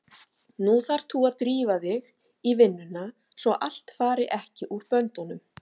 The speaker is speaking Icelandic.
Nú þarft þú að drífa þig í vinnuna svo allt fari ekki úr böndunum!